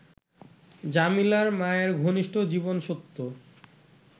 জমিলার মায়ের ঘনিষ্ঠ জীবনসত্য